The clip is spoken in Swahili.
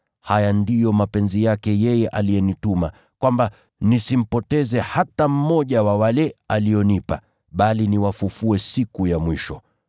Haya ndiyo mapenzi yake yeye aliyenituma, kwamba, nisimpoteze hata mmoja wa wale alionipa, bali niwafufue siku ya mwisho.